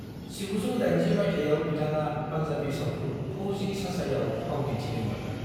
1980 माइथायाव बिथाङा पान्जाबी सावथुन फौजी चाचायाव फाव दिन्थिदोंमोन।